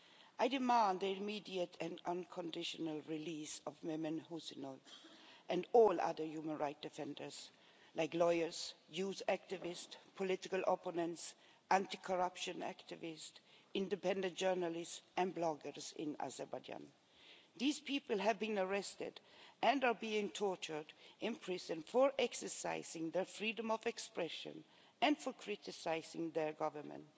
I demand the immediate and unconditional release of Mehman Huseynov and all other human rights defenders like lawyers, youth activists, political opponents, anti corruption activists, independent journalists and bloggers in Azerbaijan. These people have been arrested and are being tortured and imprisoned for exercising their freedom of expression and for criticising their Government.